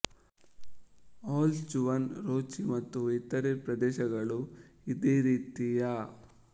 ಆಲ್ಸ್ ಜುವಾನ್ ರೊಚಿ ಮತ್ತು ಇತರೇ ಪ್ರದೇಶಗಳು ಇದೇ ರೀತಿಯ